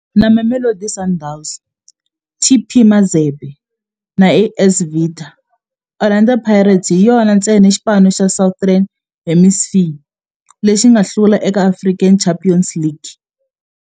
Na Mamelodi Sundowns, TP Mazembe na AS Vita, Orlando Pirates hi yona ntsena xipano xa Southern Hemisphere lexi nga hlula eka African Champions League.